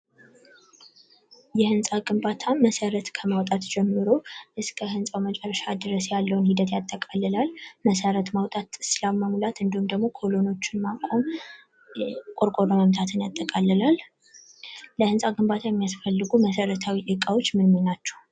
የህንጻ ግንባታ መሰረት ከማውጣት ጀምሮ እስከህንጻው መጨረሻ ድረስ ያለውን ሂደት ያጠቃልላል። መሰረት ማውጣት፣ መሙላት እንዲሁም ደግሞ ኮለኖችን ማቆም ቆርቆሮ መምታትን ያጠቃልላል። ለህንጻ ግንባታ የሚያስፈፍልጉ መሰረታዊ ግንባታዎች ምን ምን ናቸው።